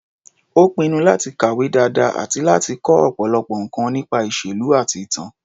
Ó pinnu láti kàwé dáadáa àti láti kọ́ ọ̀pọ̀lọpọ̀ nǹkan nípa ìṣèlú àti ìtàn.